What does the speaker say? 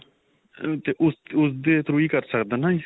ਉਸਦੇ through ਹੀ ਕਰ ਸਕਦਾ ਨਾਂ ਜੀ .